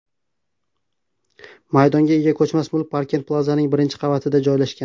maydonga ega ko‘chmas mulk Parkent Plazaning birinchi qavatida joylashgan.